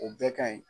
O bɛɛ ka ɲi